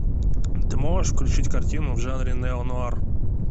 ты можешь включить картину в жанре нео нуар